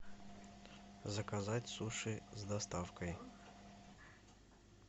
заказать суши с доставкой